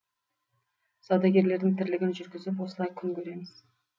саудагерлердің тірлігін жүргізіп осылай күн көреміз